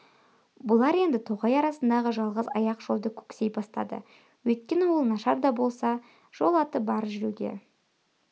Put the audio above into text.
бұлар енді тоғай арасындағы жалғыз аяқ жолды көксей бастады өйткені ол нашар да болса жол аты бар жүруге